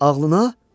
Ağlına?